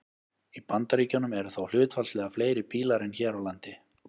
Í Bandaríkjunum eru þó hlutfallslega fleiri bílar en hér á landi.